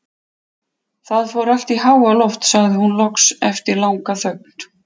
Það fór allt í háaloft, sagði hún loks eftir langa þögn.